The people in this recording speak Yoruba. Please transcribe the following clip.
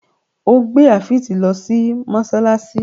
o gbé Afeez ló sí masalasi!